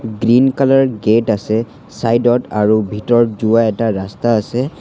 Green colour gate আছে side ত আৰু ভিতৰত যোৱা এটা ৰাস্তা আছে।